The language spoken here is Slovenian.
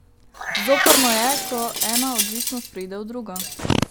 Zoprno je, ko ena odvisnost preide v drugo.